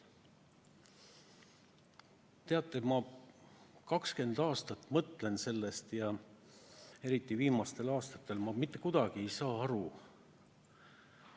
Teate, ma juba 20 aastat mõtlen sellest, eriti viimastel aastatel, ja ma mitte kuidagi ei saa aru.